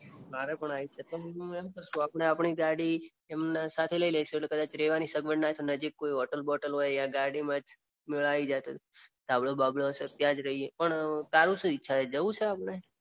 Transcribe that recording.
મારે પણ આઈ છે. હું એમ કઉ છું કે આપણે આપણી ગાડી એમના સાથે લઈ લઈશું એટલે રેવાની સગવડ કદાચ ના થઈ હોય તો નજીક કોઈક હોટેલ હોય યા ગાડી માં જ આઈ જાય તો ધાબળો બાબળો હોય તો ત્યાં જ રઈએ પણ તારી શું ઈચ્છા છે જવું છે આપણે.